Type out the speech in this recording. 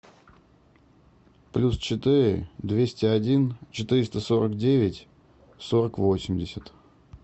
плюс четыре двести один четыреста сорок девять сорок восемьдесят